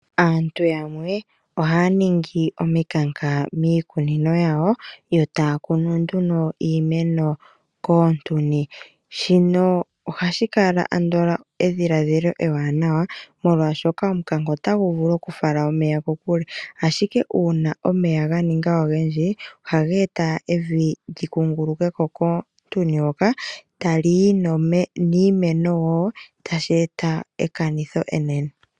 Aantu yamwe ohaya ningi omikanka miikunino yawo, yo taya kunu nduno iimeno koontuni. Shino ohashi kala andola edhilaadhila ewaanawa molwaashoka omukanka otagu vulu okufala omeya kokule, ashike uuna omeya ga ninga ogendji ohage e ta evi li kunguluke ko koontuni hoka, tali yi niimeno wo, tashi e ta ekanitho enene.